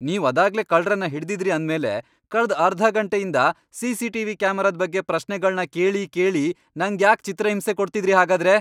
ನೀವ್ ಅದಾಗ್ಲೇ ಕಳ್ರನ್ನ ಹಿಡ್ದಿದ್ರಿ ಅಂದ್ಮೇಲೆ ಕಳ್ದ್ ಅರ್ಧ ಘಂಟೆಯಿಂದ ಸಿ.ಸಿ.ಟಿ.ವಿ. ಕ್ಯಾಮೆರಾದ್ ಬಗ್ಗೆ ಪ್ರಶ್ನೆಗಳ್ನ ಕೇಳಿ ಕೇಳಿ ನಂಗ್ಯಾಕ್ ಚಿತ್ರಹಿಂಸೆ ಕೊಡ್ತಿದ್ರಿ ಹಾಗಾದ್ರೆ?!